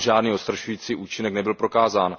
Tam žádný odstrašující účinek nebyl prokázán.